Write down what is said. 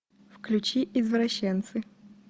включи извращенцы